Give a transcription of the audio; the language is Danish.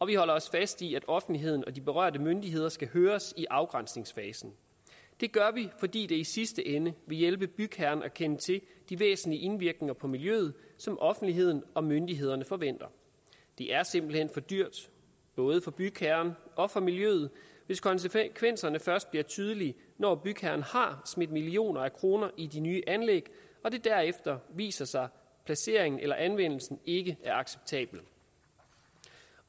vi holder også fast i at offentligheden og de berørte myndigheder skal høres i afgrænsningsfasen det gør vi fordi det i sidste ende vil hjælpe bygherren at kende til de væsentlige indvirkninger på miljøet som offentligheden og myndighederne forventer det er simpelt hen for dyrt både for bygherren og for miljøet hvis konsekvenserne først bliver tydelige når bygherren har smidt millioner af kroner i de nye anlæg og det derefter viser sig at placeringen eller anvendelsen ikke er acceptabel